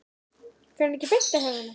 Fer hann ekki beint á haugana?